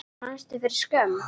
Fannstu fyrir skömm?